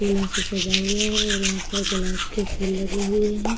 फूलों से सजा हुआ है और यहाँ पर गुलाब के फूल लगे हुए हैं।